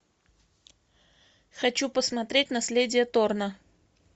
хочу посмотреть наследие торна